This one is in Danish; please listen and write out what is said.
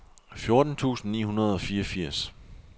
fjorten tusind ni hundrede og fireogfirs